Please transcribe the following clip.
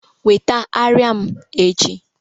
weta arịa m echi